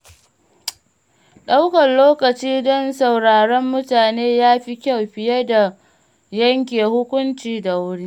Ɗaukar lokaci don sauraron mutane ya fi kyau fiye da yanke hukunci da wuri.